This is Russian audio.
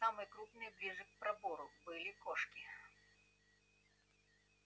самые крупные ближе к пробору были кошки